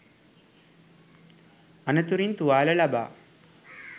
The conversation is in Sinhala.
අනතුරින් තුවාල ලබා